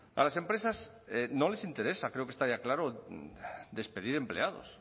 a las empresas no les interesa creo que está ya claro despedir empleados